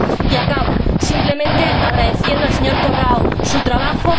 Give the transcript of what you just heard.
Y acabo simplemente agradeciendo al señor Corrao su trabajo.